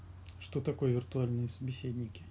что такое виртуальные собеседники